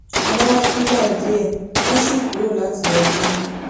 wọ́n wá fúngbà díẹ̀ wọ́n si kuro lati lọ sinmi